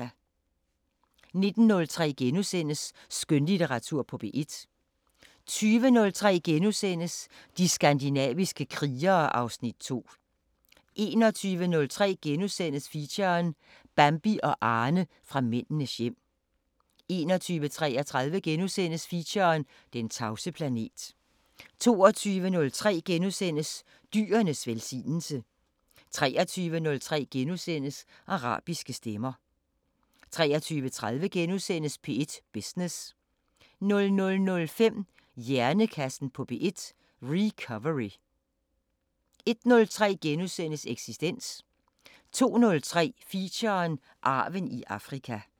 19:03: Skønlitteratur på P1 * 20:03: De skandinaviske krigere (Afs. 2)* 21:03: Feature: Bambi og Arne fra Mændenes hjem * 21:33: Feature: Den tavse planet * 22:03: Dyrenes velsignelse * 23:03: Arabiske Stemmer * 23:30: P1 Business * 00:05: Hjernekassen på P1: Recovery 01:03: Eksistens * 02:03: Feature: Arven i Afrika